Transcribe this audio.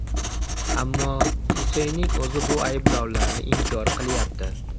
Ammo Suseyning o‘zi bu ayblovlarni inkor qilyapti.